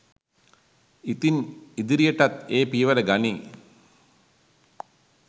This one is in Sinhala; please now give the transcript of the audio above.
ඉතින් ඉදිරියටත් ඒ පියවර ගනියි